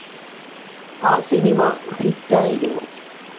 ആ സിനിമ ഹിറ്റ്‌ ആയിരുന്നു.